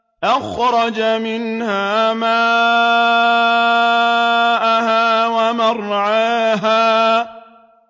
أَخْرَجَ مِنْهَا مَاءَهَا وَمَرْعَاهَا